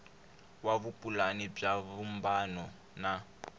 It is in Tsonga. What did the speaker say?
wa vupulani bya vumbano wa